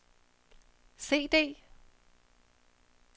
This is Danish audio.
CD